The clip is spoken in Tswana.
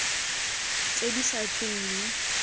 tse di sa tsweng mo